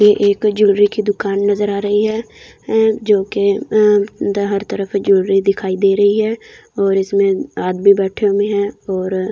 ये एक ज्वेलरी की दुकान नज़र आ रहा है जो की अ जोकी हर तरफ़ ज्वेलरी दिखाई दी रही है और इसमें आदमी बैठे हुए है और --